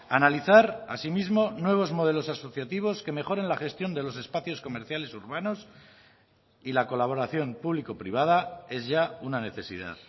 analizar asimismo nuevos modelos asociativos que mejoren la gestión de los espacios comerciales urbanos y la colaboración público privada es ya una necesidad